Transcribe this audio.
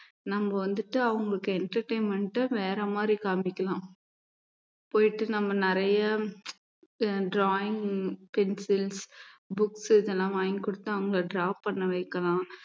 நம்ம வந்துட்டு அவங்களுக்கு entertainment அ வேற மாதிரி காமிக்கலாம் போயிட்டு நம்ம நிறைய drawing pencils books இதெல்லாம் வாங்கிக் கொடுத்து அவங்க draw பண்ண வைக்கலாம்